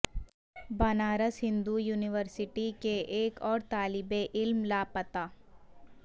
Banaras Hindu university کے ایک اور طالب علم لا پتہ